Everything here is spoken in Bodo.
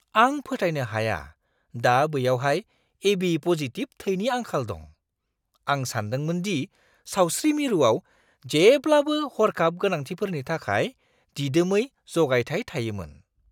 आं फोथायनो हाया दा बैयावहाय एबि-पजिटिब थैनि आंखाल दं। आं सानदोंमोन दि सावस्रि मिरुआव जेब्लाबो हर्खाब गोनांथिफोरनि थाखाय दिदोमै जगायथाय थायोमोन!